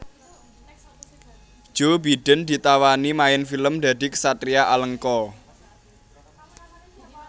Joe Biden ditawani main film dadi ksatria Alengka